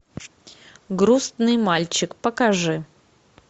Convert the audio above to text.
грустный мальчик покажи